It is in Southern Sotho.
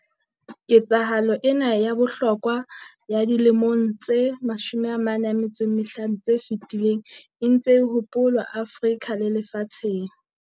Ketsahalo ena ya bohlokwa ya dilemong tse 45 tse fetileng e ntse e hopolwa Afrika le lefatsheng.